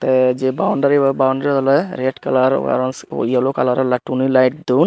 te je boundary bo boundary bo oly red kalar araw yello kalaror eltoni lite don.